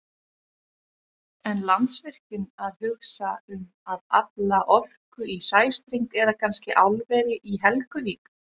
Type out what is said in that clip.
En Landsvirkjun að hugsa um að afla orku í sæstreng eða kannski álveri í Helguvík?